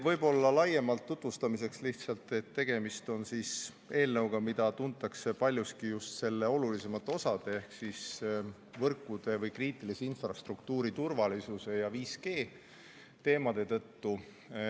Võib-olla laiemalt tutvustamiseks lihtsalt, et tegemist on eelnõuga, mida tuntakse paljuski just selle olulisemate osade ehk võrkude ehk kriitilise infrastruktuuri turvalisuse ja 5G teemade tõttu.